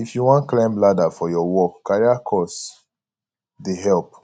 if you wan climb ladder for your work career course dey help